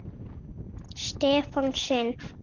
Stefán sinn.